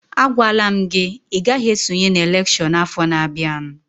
A gwala m gị, ị gaghị esonye n'elekshọn afọ na-bịanụ!